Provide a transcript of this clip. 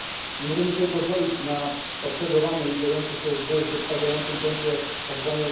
Nie możemy sobie pozwolić na obserwowane i dziejące się w zatrważającym tempie tzw.